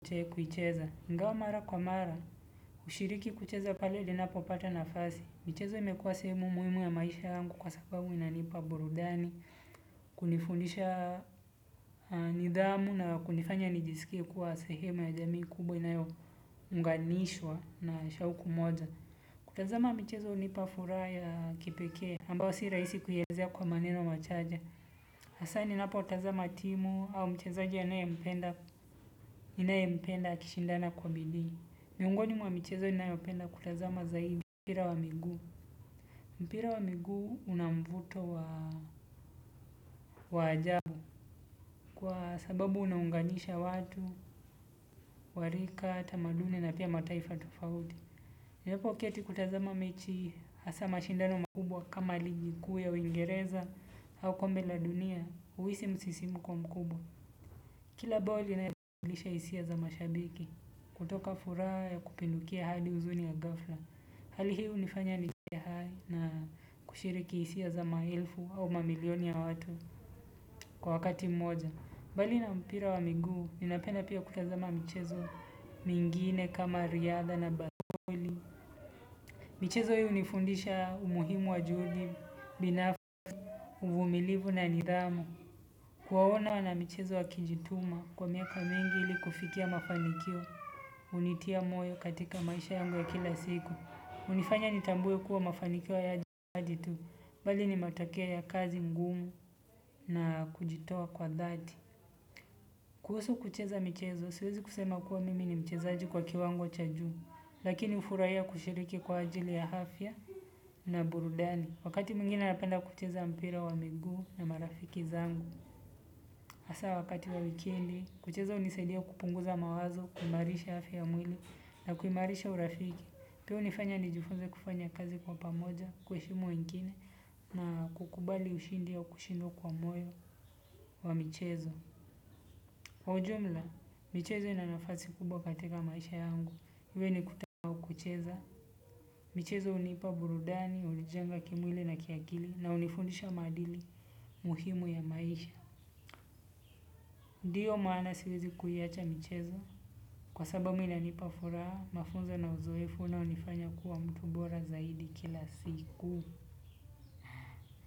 Uche kuicheza, ngao mara kwa mara, ushiriki kucheza pale ninapo pata nafasi, mchezo imekuwa sehemu muimu ya maisha angu kwa sababu inanipa burudani, kunifundisha nidhamu na kunifanya nijisikie kuwa sehemu ya jamii kubwa inayo mganishwa na shaukumoja. Kutazama mchezo nipa furaha ya kipekea ambao si raisi kuyazea kwa maneno machache. Hasa ninapotazama timu au mchezoji ya nae mpenda kishindana kwa bidi. Miungoni mwa mchezo ni nayopenda kutazama zaibi. Mpira wa miguu mpira wa miguu unamvuto wa ajabu. Kwa sababu unaunganisha watu, warika, tamaduni na pia mataifa tufaudi napo kia ti kutazama mechi asa mashindano makubwa kama ligikuu ya uingereza au kombe la dunia uisi msisimuki mkubwa. Kila boli na yajulisha isia za mashabiki. Kutoka furaha ya kupindukia hadi uzuni ya gafla. Hali hiu nifanya ni siya hai na kushiriki isia za maelfu au mamilioni ya watu kwa wakati mmoja. Bali na mpira wa miguu, ninapenda pia kutazama mchezo mingine kama riadha na basboli. Michezo hiu nifundisha umuhimu wa juhudi, binafsi, umilivu na nidhamu. Kuwa waona wana michezo wa kijituma kwa miaka mengi ili kufikia mafanikio unitia moyo katika maisha yangu ya kila siku. Unifanya nitambui kuwa mafanikio yaji tu, bali ni matokeo ya kazi ngumu na kujitoa kwa dhati. Kuhusu kucheza michezo, siwezi kusema kuwa mimi ni michezaji kwa kiwango cha juu. Lakini ufurahia kushiriki kwa ajili ya afya na burudani. Wakati mwingine napenda kucheza mpira wa migu na marafiki zangu. Asa wakati wa wikindi, kucheza unisaidia kupunguza mawazo, kumarisha afya mwili na kumarisha urafiki. Teo unifanya ni jufunze kufanya kazi kwa pamoja, kueshimu wengine na kukubali ushindi ya ukushindwa kwa moyo wa mchezo. Kwa ujumla, mchezo una nafasi kubwa kateka maisha yangu. Iwe ni kutakucheza. Michezo unipa burudani, ulijenga kimwili na kiakili na unifundisha madili muhimu ya maisha. Ndiyo maana siwezi kuiacha michezo. Kwa sabamu inanipa furaha, mafunzo na uzoefu na unifanya kuwa mtu bora zaidi kila siku.